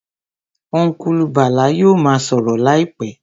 Ọ́nkùlù Bàlá yóò ma sọ̀rọ̀ láìpẹ́